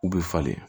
U bɛ falen